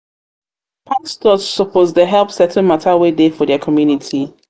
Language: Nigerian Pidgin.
pastors suppose dey help settle mata wey dey for their community.